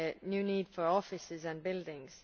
a new need for offices and buildings.